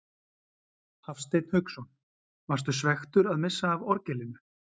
Hafsteinn Hauksson: Varstu svekktur að missa af orgelinu?